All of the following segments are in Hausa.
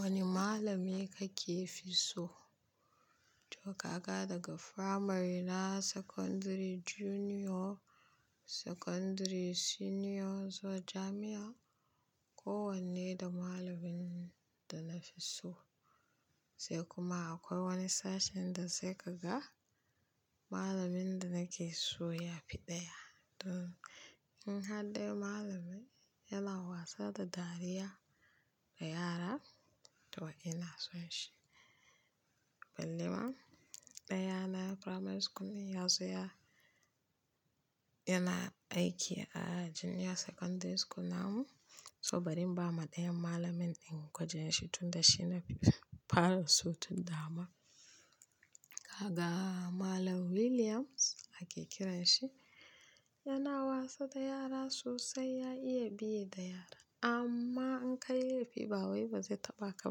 Wane malami kake fi so? To kaka daga primary na secondary junior, secondary senior zuwa jami'a, kowanne da malamin da na fi so. Sai kuma akwai wani sashen da sai ka ga malanin da nake so ya fi ɗaya. Don in hadde malami yana wasa da dariya da yara to ina son shi. Ballema, ɗaya na primary school din ya zo ya-- yana aiki a junior secondary school namu, so bari in bawa ɗayan malamin kujeran shi tunda shi na fi faro su tunda ma. Kaka malam Williams ake kiranshi, yana wasa da yara sosai, ya iya biye da yara. Amma in ka yi laifi ba wai ba zai taɓa ka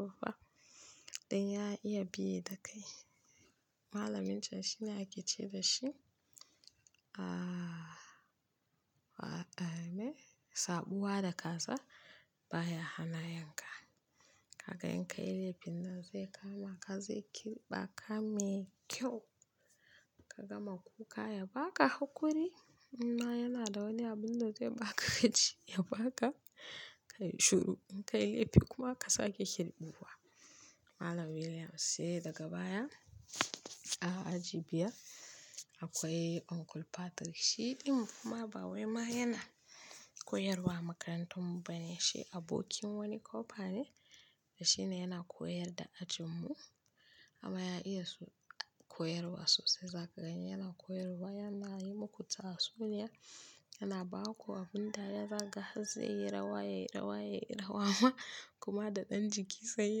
ba fa. Ɗan ya iya biye da kai. Malamin can shi ne aiki ce da shi. Ahhh, waɗanne sabuwa da ka sa ba ya hana yanka. Kaka in ka yi laifin nan zai kama ka, zai kirɓa ka mai kyau. Ka gama kuka ya baka hakuri, imma yana da wani abun da zai baka yace ya baka kayi shiru. In ka yi laifi kuma ka sake kirɓuwa. Malam Williams sai daga baya a aji biyar akwai Uncle Patrick, shi din ma ba wai ma yana koyarwa a makarantar mu ba ne, shi abokin wani kofa ne shi ne yana koyar da ajin mu. Amma ya iya su-- koyarwa sosai, za ka gani yana koyarwa, yana yi muku tatsuniya, yana ba ku abin da ya zaga, zai yi rawa, yayi rawa, yayi rawa ma kuma da ɗan jiki sai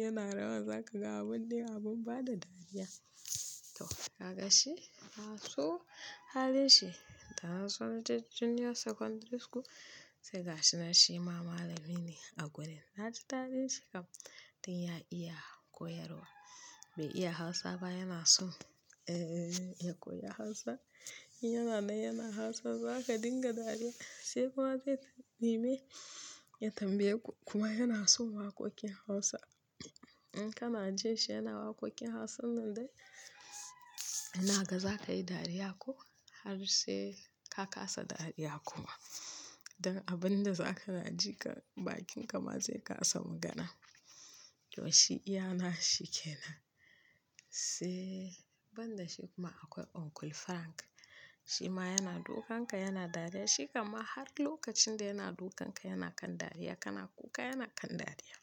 yana rawa. Za ka ga abin dai abin bada dariya. To, daga shi, na so halin shi, da nazo naje ta junior secondary school, sai ga shi shi ma malami ne a gurin. Na ji daɗin don ya iya koyarwa. Bai iya Hausa ba yana son, ehhh, ya koyi Hausa. Yana nan yana Hausa ba za ka dinga dariya sai kuma zai nemi ya tambaye ku kuma yana son waƙoƙin Hausa. In kana jin shi yana waƙoƙin Hausa nan dai, ina ga za ka yi dariya ko har sai ka kasa dariya kuma. Don abin da za ka na ji kan bakin ka ma zai kasa magana. To shi iya na shi ke nan. Sai ban da shi kuma akwai Uncle Frank. Shi ma yana dukan ka, yana dariya. Shi kan ma har lokacin da yana dukan ka yana kan dariya, kana kuka yana kan dariya.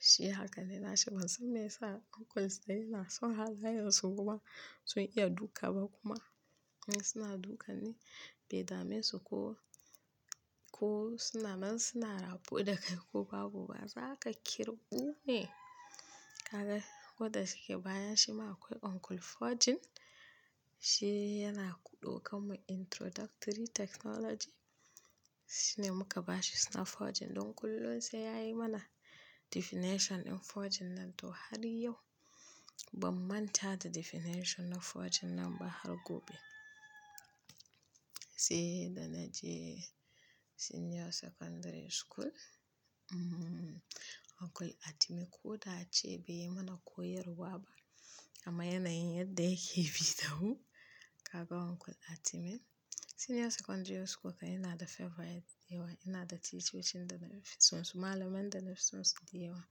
Shi hakan ne na shi ban san me ya sa uncles dai na son har wayarsu kuma sun iya duka ba kuma in suna dukan ni bai dame su ko, ko suna man suna raɓu da kai ko babu ba. Za ka kirɓu ne. Kaka ko da shike bayan shi ma akwai Uncle Forjin. Shi yana ku ɗau kanmu introductory technology. Shi ne muka bashi suna Forjin don kullum sai ya yi mana definition in Forjin nan to har yau ban manta da definition na Forjin nan ba har gobe. Sai da na je senior secondary school, hmmm, Uncle Atimi ko da ace bai yi mana koyarwa ba amma yana yin yadda yake bi da mu. Kaka Uncle Atimi. Junior secondary school fa ina da favourite da yawa, ina da chichochin da nafi son su. Malaman da nafi son su da yawa.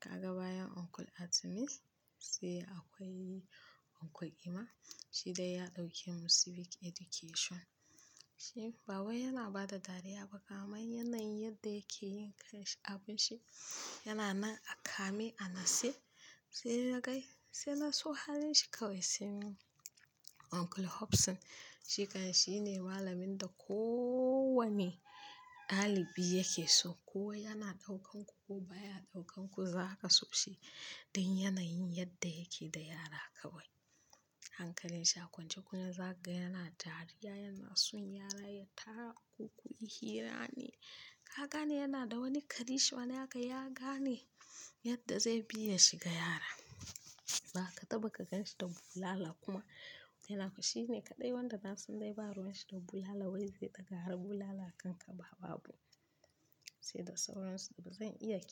Kaka bayan Uncle Atimi sai akwai Uncle Emma. Shi dai ya ɗauke mu civic education. Shi ba wai yana ba da dariya ba kamai yana yin yadda yake yin abin shi. Yana nan a kame, a natse sai dai kai, sai ka so halin shi kawai. Sai Uncle Hobson. Shi kan shi ne malamin da ko wanne ɗalibi yake so. Ko yana ɗaukan ku ko ba ya ɗaukan ku za ka so shi. Don yana yin yadda yake da yara kawai. Hankalin shi a kwance kum za ka ga yana dariya, yana son yara, ya tako ku yi hira ne. Kaga ne yana da wani ƙanin, shi wanda haka ya gane yadda zai biya shi ga yara. Ba ka taɓa ka ganshi da bulala kuma inaga shi ne kaɗai wanda na san dai ba ruwan shi da bulala wai zai ɗaga har bulala kanka ba babu. Sai da sauransu ba zan iya kirɓ.